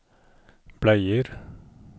bleier